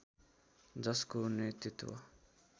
जसको नेतृत्व